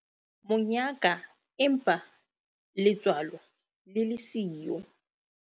Monyaka empa letswalo le le siyo.